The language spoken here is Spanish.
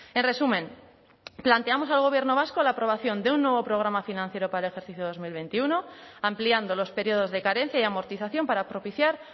en resumen planteamos al gobierno vasco la aprobación de un nuevo programa financiero para el ejercicio dos mil veintiuno ampliando los periodos de carencia y amortización para propiciar